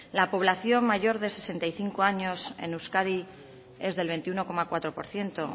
la población mayor de sesenta y cinco años en euskadi es del veintiuno coma cuatro por ciento